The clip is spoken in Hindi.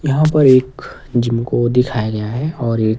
यहां पर एक जिम को दिखाया गया है और एक--